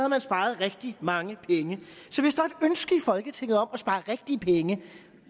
man sparet rigtig mange i folketinget om at spare rigtig mange penge